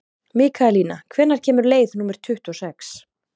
Mikaelína, hvenær kemur leið númer tuttugu og sex?